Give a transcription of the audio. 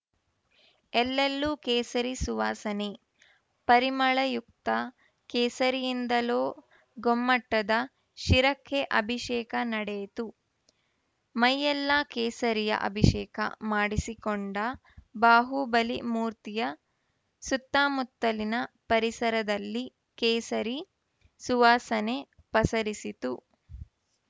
ಎಲ್ಲೆಲ್ಲೂ ಕೇಸರಿ ಸುವಾಸನೆ ಪರಿಮಳಯುಕ್ತ ಕೇಸರಿಯಿಂದಲೂ ಗೊಮ್ಮಟದ ಶಿರಕ್ಕೆ ಅಭಿಷೇಕ ನಡೆಯಿತು ಮೈಯೆಲ್ಲ ಕೇಸರಿಯ ಅಭಿಷೇಕ ಮಾಡಿಸಿಕೊಂಡ ಬಾಹುಬಲಿ ಮೂರ್ತಿಯ ಸುತ್ತಮುತ್ತಲಿನ ಪರಿಸರದಲ್ಲಿ ಕೇಸರಿ ಸುವಾಸನೆ ಪಸರಿಸಿತು